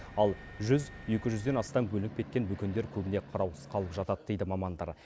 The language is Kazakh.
ал жүз екі жүзден астам бөлініп кеткен бөкендер көбіне қараусыз қалып жатады дейді мамандар